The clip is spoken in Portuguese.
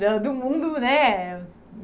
da do mundo, né?